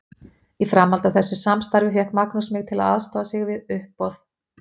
Í framhaldi af þessu samstarfi fékk Magnús mig til að aðstoða sig við uppboð.